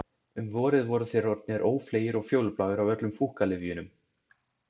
Um vorið voru þeir orðnir ófleygir og fjólubláir af öllum fúkkalyfjunum.